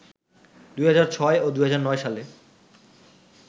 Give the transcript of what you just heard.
২০০৬ ও ২০০৯ সালে